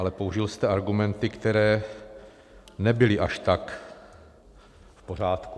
Ale použil jste argumenty, které nebyly až tak v pořádku.